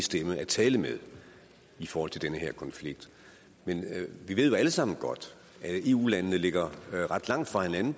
stemme at tale med i forhold til den her konflikt men vi ved jo alle sammen godt at eu landene ligger ret langt fra hinanden